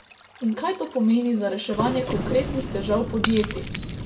In kaj to pomeni za reševanje konkretnih težav podjetij?